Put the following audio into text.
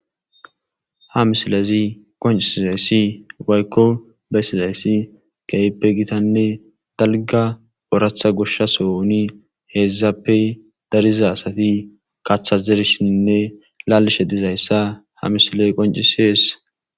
Ha misilezi qoncisizayssi waykko beysizayssi keyppe gitanne dalga oratha goshsha sooni heezzappe dariza asati kaththazershinne laalishe dizayssa ha misiley qoncisees.